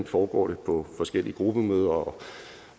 foregår på forskellige gruppemøder